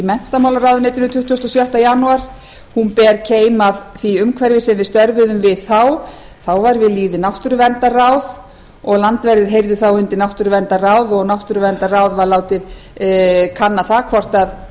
menntamálaráðuneytinu tuttugasta og sjötta janúar hún ber keim af því umhverfi sem við störfuðum við þá þá var náttúruverndarráð við lýði og landverðir heyrðu undir náttúruverndarráð og það látið kanna hvort